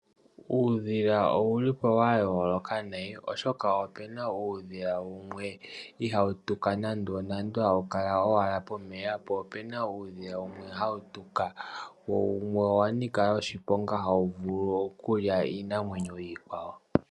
Uudhila owuli po wa yooloka nayi, oshoka opuna uudhila mboka ihawu tuka nandonando hawu kala ashike pomeya, po opuna mboka hawu tuka wo wumwe owa nika oshiponga oshoka ohawu vulu okulya iinamwenyo iikwawo.